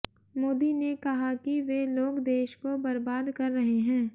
मोदी ने कहा कि वे लोग देश को बर्बाद कर रहे हैं